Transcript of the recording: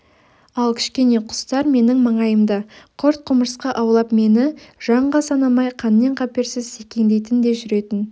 ал кішкене құстар менің маңайымда құрт-құмырсқа аулап мені жанға санамай қаннен-қаперсіз секеңдейтін де жүретін